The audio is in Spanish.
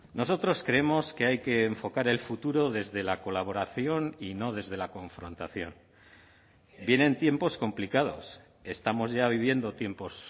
nosotros creemos que hay que enfocar el futuro desde la colaboración y no desde la confrontación vienen tiempos complicados estamos ya viviendo tiempos